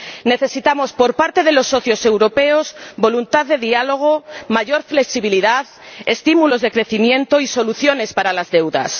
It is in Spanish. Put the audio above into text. Necesitamos, por parte de los socios europeos, voluntad de diálogo, mayor flexibilidad, estímulos de crecimiento y soluciones para las deudas.